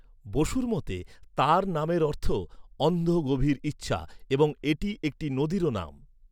বসুর মতে, তাঁর নামের অর্থ 'অন্ধ গভীর ইচ্ছা' এবং এটি একটি নদীরও নাম।